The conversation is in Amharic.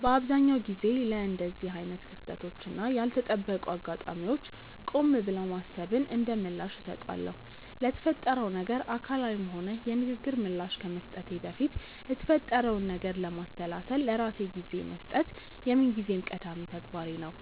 በአብዛኛው ጊዜ ለእንደዚህ አይነት ክስተቶች እና ያልተጠበቁ አጋጣሚዎች ቆም ብሎ ማሰብን እንደምላሽ እሰጣለሁ። ለተፈጠረው ነገር አካላዊም ሆነ የንግግር ምላሽ ከመስጠቴ በፊት የተፈጠረውን ነገር ለማሰላሰል ለራሴ ጊዜ መስጠት የምንጊዜም ቀዳሚ ተግባሬ ነው።